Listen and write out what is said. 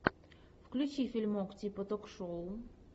включи фильмок типа ток шоу